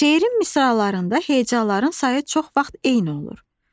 Şeirin misralarında hecaların sayı çox vaxt eyni olur.